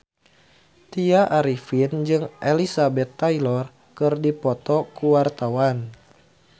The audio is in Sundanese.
Tya Arifin jeung Elizabeth Taylor keur dipoto ku wartawan